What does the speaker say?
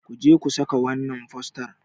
ku je ku saka wannan fostar!